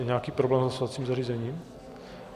Je nějaký problém s hlasovacím zařízením?